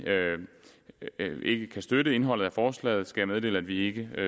ikke kan støtte indholdet i forslaget skal jeg meddele at vi ikke